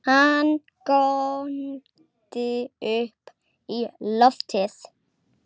Hann góndi upp í loftið!